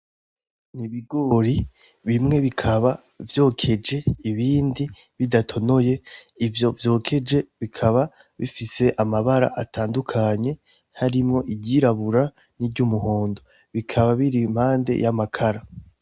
Ni ibigori bimwe bikaba vyokeje ibindi bidatonoye ivyo vyokeje bikaba bifise amabara atandukanye harimwo iryirabura n'iryumuhondo, bikaba biri impande y'amakara.